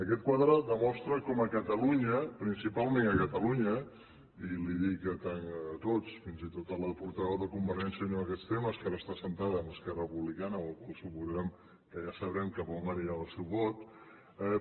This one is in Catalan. aquest quadre demostra com a catalunya principalment a catalunya i ho dic a tots fins i tot a la portaveu de convergència i unió en aquests temes que ara està asseguda amb esquerra republicana amb la qual cosa suposem que ja sabrem cap a on anirà el seu vot